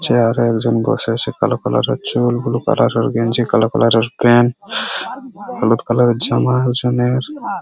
Chair এ একজন বসে সে কালো কালার এর চুল বুলু কালার এর গেঞ্জি কালো কালার এর পেন্ট হলুদ কালার এর জামা একজনের।